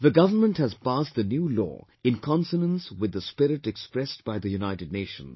The government has passed the new law in consonance with the spirit expressed by the United Nations